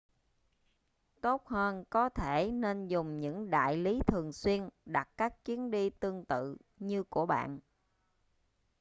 tốt hơn có thể nên dùng những đại lý thường xuyên đặt các chuyến đi tương tự như của bạn